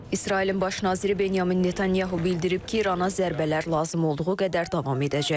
İsrailin baş naziri Benyamin Netanyahu bildirib ki, İrana zərbələr lazım olduğu qədər davam edəcək.